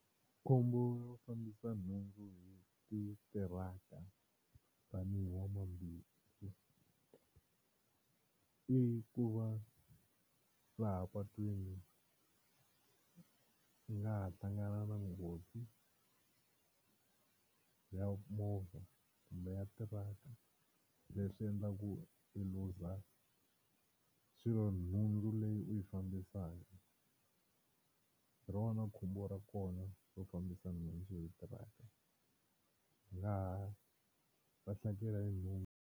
Khombo ro fambisa nhundzu hi titiraka tanihi n'wamabindzu i ku va laha patwini i nga ha hlangana na nghozi ya movha kumbe ya tiraka leswi endlaku i lose swilo nhundzu leyi u yi fambisaka, hi rona khombo ra kona ro fambisa nhundzu hi tiraka i nga ha lahlekela hi nhundzu.